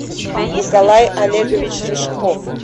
николай олегович рыжков